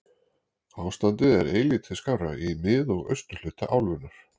Ástandið er eilítið skárra í mið- og austurhluta álfunnar.